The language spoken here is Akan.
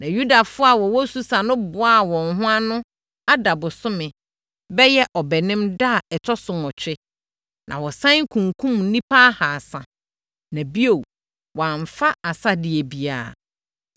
Na Yudafoɔ a wɔwɔ Susa no boaa wɔn ho ano Adar bosome (bɛyɛ Ɔbɛnem) da a ɛtɔ so nwɔtwe, na wɔsane kunkumm nnipa ahasa, na bio, wɔamfa asadeɛ biara.